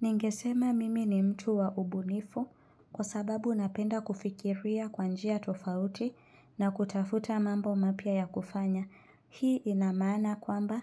Ningesema mimi ni mtu wa ubunifu kwa sababu napenda kufikiria kwa njia tofauti na kutafuta mambo mapya ya kufanya. Hii inamaana kwamba